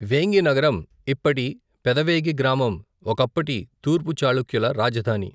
వేంగి నగరం ఇప్పటి పెదవేగి గ్రామం ఒకప్పటి తూర్పు చాళుక్యుల రాజధాని.